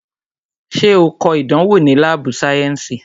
Ṣé o kọ ìdánwò ni láàbù sayensi?